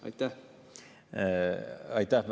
Aitäh!